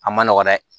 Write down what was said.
A ma nɔgɔn dɛ